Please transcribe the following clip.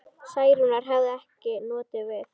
Særúnar hefði ekki notið við.